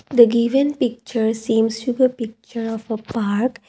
the given picture seems to the picture of a park.